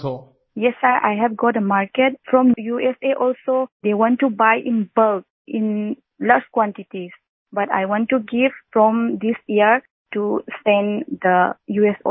Vijayashanti ji yes I have got a market from USA also they want to buy in bulk in lots quantities but I want to give from this year to send the uएस also